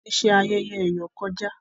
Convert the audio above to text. Wón tí ṣe ayẹyẹ eyọ kọjá